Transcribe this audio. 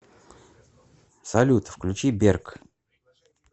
салют включи берк